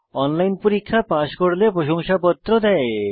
online পরীক্ষা pass করলে প্রশংসাপত্র দেয়